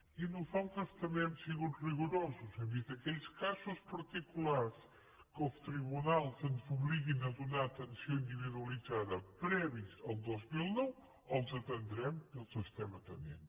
i nosaltres també hem sigut rigorosos hem dit aquells casos particulars en què els tribunals ens obliguin a donar atenció individualitzada previs al dos mil nou els atendrem i els estem atenent